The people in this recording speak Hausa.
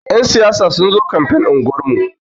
Yan siyasa sun zo kamfen unguwar mu.